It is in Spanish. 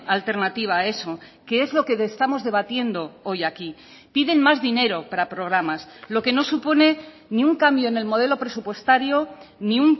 alternativa a eso que es lo que estamos debatiendo hoy aquí piden más dinero para programas lo que no supone ni un cambio en el modelo presupuestario ni